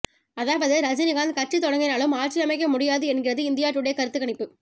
அதாவது ரஜினிகாந்த் கட்சி தொடங்கினாலும் ஆட்சி அமைக்க முடியாது என்கிறது இந்தியா டுடே கருத்து கணிப்பு